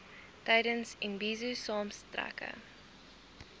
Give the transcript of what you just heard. tydens imbizo saamtrekke